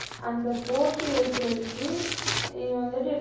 அந்த போட்டி வைக்கிறதுக்கு, நீ வந்துட்டு என்ன